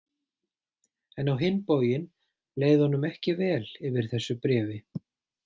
En á hinn bóginn leið honum ekki vel yfir þessu bréfi.